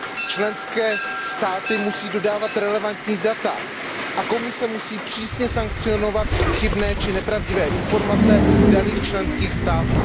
Členské státy musí dodávat relevantní data a Komise musí přísně sankcionovat chybné či nepravdivé informace daných členských států.